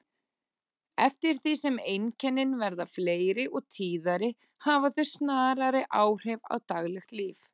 Eftir því sem einkennin verða fleiri og tíðari hafa þau snarari áhrif á daglegt líf.